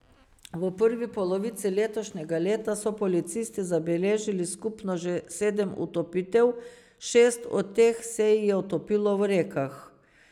V prvi polovici letošnjega leta so policisti zabeležili skupno že sedem utopitev, šest od teh se jih je utopilo v rekah.